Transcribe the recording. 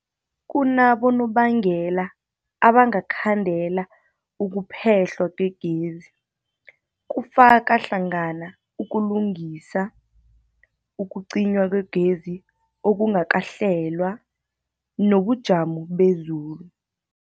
Kunabonobangela abangakhandela ukuphehlwa kwegezi, kufaka hlangana ukulungisa, ukucinywa kwegezi okungakahlelwa, nobujamo bezulu.